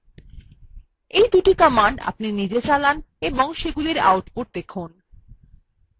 এই দুটি commands আপনি নিজে চালান এবং সেগুলির output দেখুন